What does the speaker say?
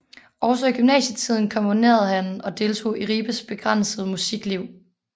Også i gymnasietiden komponerede han og deltog i Ribes begrænsede musikliv